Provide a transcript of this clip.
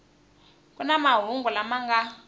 ku na mahungu lama nga